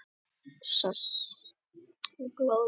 Glóðin býr undir, sagði skáldið, og það þarf að magna hana í bál.